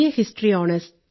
history owners